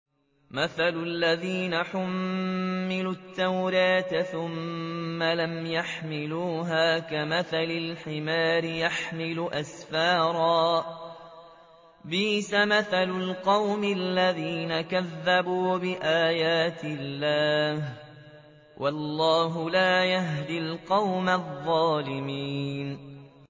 مَثَلُ الَّذِينَ حُمِّلُوا التَّوْرَاةَ ثُمَّ لَمْ يَحْمِلُوهَا كَمَثَلِ الْحِمَارِ يَحْمِلُ أَسْفَارًا ۚ بِئْسَ مَثَلُ الْقَوْمِ الَّذِينَ كَذَّبُوا بِآيَاتِ اللَّهِ ۚ وَاللَّهُ لَا يَهْدِي الْقَوْمَ الظَّالِمِينَ